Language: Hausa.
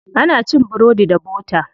Ana cin burodi da bota.